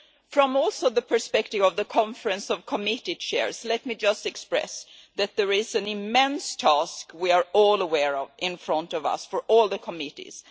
From also the perspective of the Conference of Committee Chairs, let me just express that there is an immense task we are all aware of in front of us for all the committees.